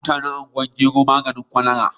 Ana yiwa mutanen Ungwan maigero maganin kwalara.